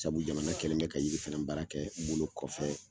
Sabu jamana kɛlen bɛ ka yiri fɛnɛ baara kɛ bolo kɔfɛ